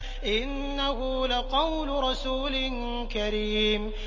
إِنَّهُ لَقَوْلُ رَسُولٍ كَرِيمٍ